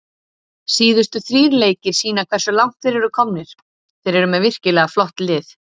Síðustu þrír leikir sýna hversu langt þeir eru komnir, þeir eru með virkilega flott lið.